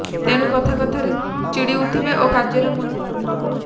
ତେଣୁ କଥା କଥାରେ ଚିଡ଼ି ଉଠିବେ ଓ କାର୍ଯ୍ୟରେ ମନ ଲାଗିବ ନାହିଁ